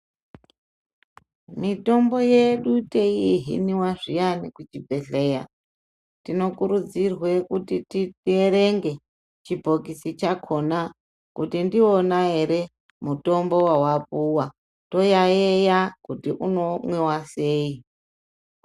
Mitombo yedu tei hiniwa zviyani kuchi bhehleya tino kurudzirwe kuti tiyerenge chibhokisi chakona kuti ndiwona ere mitombo wawa puwa toyayeya kuti uno mwiwa sei .